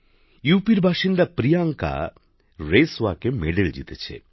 উত্তর প্রদেশের বাসিন্দা প্রিয়াঙ্কা রেস ওয়াকে পদক জিতেছেন